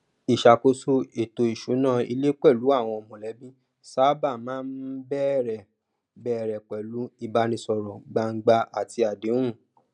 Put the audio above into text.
ìṣàkóso ètò ìsúná ilé pẹlú àwọn mọlẹbí sábà máa ń bẹrẹ ń bẹrẹ pẹlú ìbánisọrọ gbangba àti àdéhùn